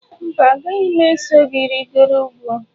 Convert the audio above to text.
Mba, agaghị m eso gị rịgoro ugwu.